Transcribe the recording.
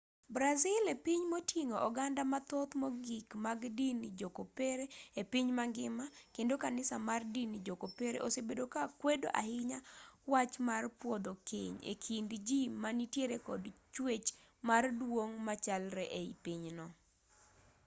brazil e piny moting'o oganda mathoth mogik mag din jo-kopere e piny mangima kendo kanisa mar din jo-kopere osebedo ka kwedo ahinya wach mar pwodho keny e kind ji ma nitiere kod chwech mar duong' machalre ei pinyno